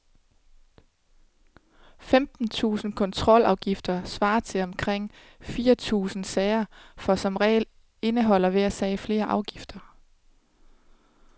Femten tusinde kontrolafgifter svarer til omkring fire tusinde sager, for som regel indeholder hver sag flere afgifter.